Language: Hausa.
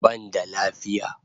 Ban da lafiya